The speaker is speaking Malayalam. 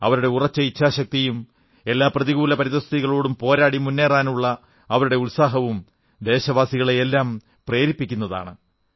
അവരുടെ ഉറച്ച ഇച്ഛാശക്തിയും എല്ലാ പ്രതികൂല പരിതഃസ്ഥിതികളോടും പോരാടി മുന്നേറാനുള്ള അവരുടെ ഉത്സാഹവും ദേശവാസികളെയെല്ലാം പ്രേരിപ്പിക്കുന്നതാണ്